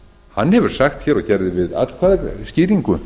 hann hefur sagt hér og gerði við atkvæðaskýringu